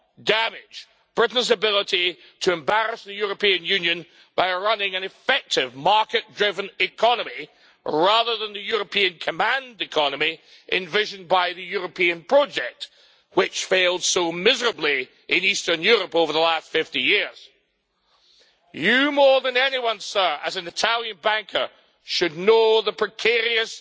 damage Britain's ability to embarrass the European Union by running an effective market-driven economy rather than the European command economy envisioned by the European project which has failed so miserably in eastern Europe over the last 50 years. Mr Draghi, more than anyone, as an Italian banker, should know the precarious